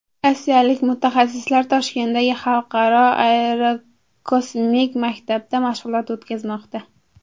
Rossiyalik mutaxassislar Toshkentdagi Xalqaro aerokosmik maktabda mashg‘ulot o‘tkazmoqda.